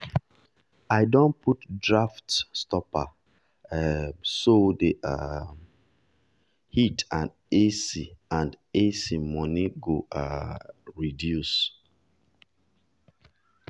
i don put draft stopper um so the um heat and ac and ac money go um reduce.